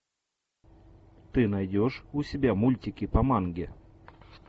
ты найдешь у себя мультики по манге